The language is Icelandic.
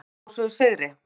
Bandamenn hrósuðu sigri.